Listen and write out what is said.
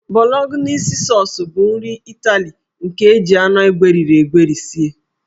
Bolognese Sọọs bụ nri Ịtali nke e ji anụ egweri egweri sie.